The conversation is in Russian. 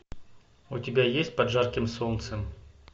у тебя есть под жарким солнцем